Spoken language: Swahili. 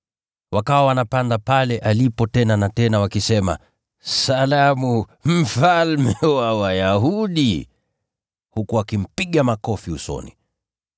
Wakawa wanapanda pale alipo tena na tena, wakisema, “Salamu! Mfalme wa Wayahudi!” Huku wakimpiga makofi usoni.